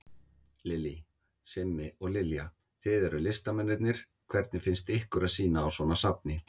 Lillý: Simmi og Lilja, þið eruð listamennirnir, hvernig finnst ykkur að sýna á svona safni?